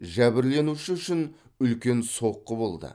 жәбірленуші үшін үлкен соққы болды